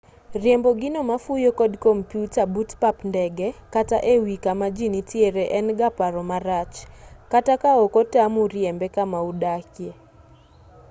riembo gino mafuyo kod kompyuta but pap ndege kata e wii kama jii nitiere en ga paro marach kata ka ok otamu riembe kama udakie